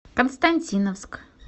константиновск